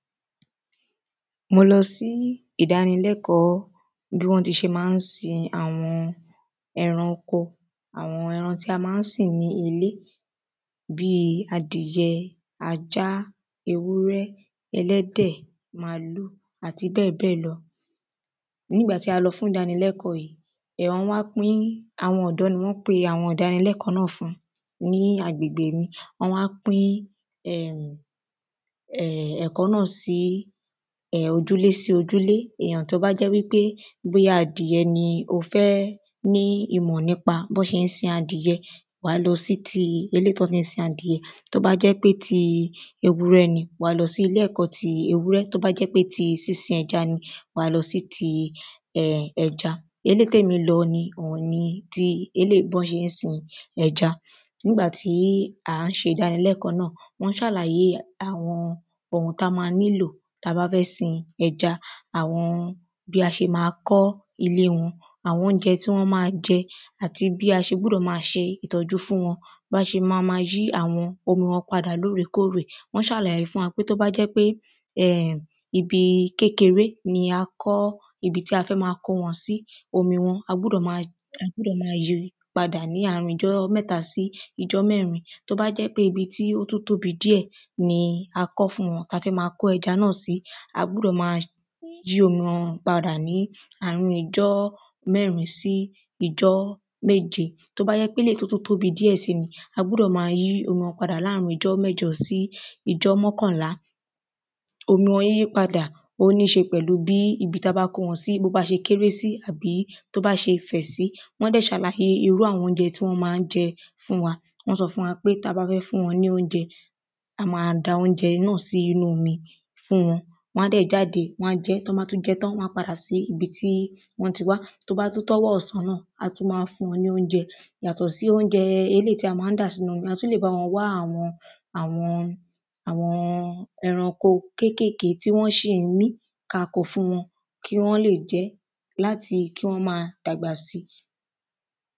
Mo lọ sí ìdánilẹ́kọ̀ọ́ bí wọ́n tí ṣe máa ń sin àwọn ẹran oko àwọn ẹran tí a máa ń sìn ní ilé Bíi adìyẹ ajá ewúrẹ́ ẹlẹ́dẹ̀ màlúù àti bẹ́ẹ̀bẹ́ẹ̀ lọ Nígbà tí a lọ fún ìdánilẹ́kọ̀ọ́ yìí um wọ́n wá pín àwọn ọ̀dọ́ ní wọ́n pe àwọn ìdánilẹ́kọ̀ọ́ náà fún ní agbègbè mi Wọ́n wá pín um um ẹ̀kọ́ náà sí ojúlé sí ojúlé Èyàn tí ó bá jẹ́ wípé bóyá adìyẹ ni ó fẹ́ ní ìmọ̀ nípa bí wọ́n ṣe ń sìn adìyẹ wà á lọ sí tí eléyì tí wọ́n tí ń sin adìyẹ Tí ó bá jẹ́ pé tí ewúrẹ́ ni wà á lọ sí ilé ẹ̀kọ́ tí ewúrẹ́ Tí ó bá jẹ́ pé tí sísin ẹja ni wà á lọ si tí um ẹja Eléyì tí èmi lọ ni òun ni tí eléyì bí wọ́n ṣe ń sin ẹja Nígbà tí à ń ṣe ìdánilẹ́kọ̀ọ́ náà wọ́n ṣàlàyé àwọn oun tí a ma nílò tí a bá fẹ́ sin ẹja Àwọn bí a ṣe ma kọ́ ilé wọn àwọn óunjẹ tí wọ́n á máa jẹ́ àti bí a ṣe gbúdọ̀ máa ṣe ìtọ́jú fún wọn Bí a ṣe ma ma yí àwọn omi wọn padà lóòrèkóòrè Wọ́n ṣàlàyé fún wa pé tí ó bá jẹ́ pé um ibi kékeré ni a kọ́ ibi tí a fẹ́ ma kó wọn sí omi wọn a gbúdọ̀ máa yí a gbúdọ̀ máa yipadà ní àárín ijọ mẹ́ta sí ijọ́ mẹ́rin Tí ó bá jẹ́ pé ibi tí ó tún tóbi díẹ̀ ni a kọ́ fún wọn tí a fẹ́ máa kó ẹja náà si a gbúdọ̀ ma yí omi wọn padà ní àárín ijọ́ mẹ́rin sí ijọ́ méje Tí ó bá jẹ́ pe eléyì tí ó tún tóbi díẹ̀ sì ni a gbúdọ̀ máa yí omi wọn padà láàrin ijọ́ mẹ́jọ sí ijọ́ mọ́kànlàá Omi wọn yíyípadà ó níí ṣe pẹ̀lú bí ibi tí a bá kó wọn sí bí ó bá ṣe kéré sí àbí tí ó bá ṣe fẹ̀ sí Wọ́n dẹ̀ ṣàlàyé irú àwọn óunjẹ tí wọ́n máa ń jẹ́ fún wa Wọ́n sọ fún wa pé tí a bá fẹ́ fún wọn ní óunjẹ a ma da óunjẹ náà sí inú omi fún wọn Wọ́n á dẹ̀ jáde Wọ́n á jẹ ẹ́ Tí wọn bá tún jẹ ẹ́ tán wọ́n a padà sí ibi tí wọ́n ti wá Tí ó bá tú tó ọwọ́ ọ̀sán náà a tún ma fún wọn ní óunjẹ Yàtọ̀ sí óunjẹ eléyì tí a máa ń dà sínú omi a tún lè bá wọn wá àwọn àwọn ẹranko kékèké tí wọ́n ṣi ń mí ki a ko fún wọn kí wọ́n lè jẹ ẹ́ láti kí wọ́n máa dagbà si